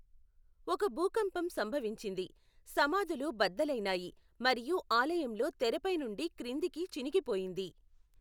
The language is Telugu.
ఒక భూకంపం సంభవించింది, సమాధులు బద్దలైనాయి మరియు ఆలయంలో తెర పై నుండి క్రిందికి చినిగిపోయింది.